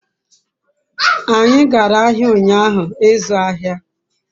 anyi gara ahia unyahu izu ahia